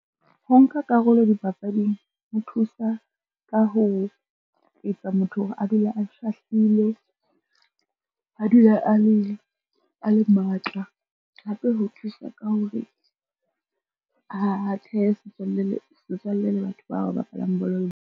Ho nka karolo dipapading ho thusa ka ho etsa motho hore a dule a shahlile, a dule a le matla, hape ho thusa ka hore a thehe le setswalle le batho bao o bapalang bolo.